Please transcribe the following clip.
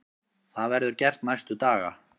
Það verður gert næstu daga.